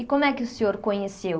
E como é que o senhor conheceu?